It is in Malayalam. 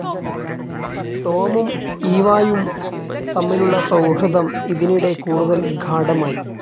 ടോമും ഈവായും തമ്മിലുള്ള സൗഹൃദം ഇതിനിടെ കൂടുതൽ ഗാഢമായി.